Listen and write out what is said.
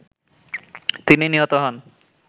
তিনি নিহত হন